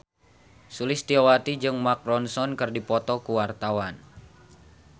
Sulistyowati jeung Mark Ronson keur dipoto ku wartawan